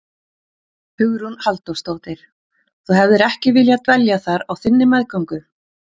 Hugrún Halldórsdóttir: Þú hefðir ekki viljað dvelja þar á þinni meðgöngu?